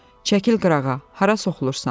Çəkil qırağa, hara soxulursan?